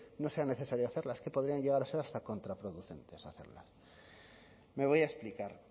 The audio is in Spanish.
no sea necesario hacerlas es que podrían llegar a ser hasta contraproducentes hacerlas me voy a explicar